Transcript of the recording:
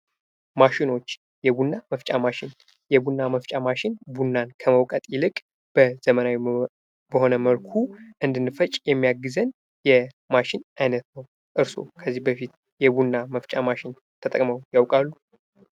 ማሺኖች የቡና መፍጫ ማሽን ቡናን ከመውቀት ይልቅ በዘመናዊ መልኩ እንድንፈጭ የሚያግዘን አይነት ነው። እርሶ ከዚህ በፊት የቡና መፍጫ ማሽን ተጠቅመው ያውቃሉ?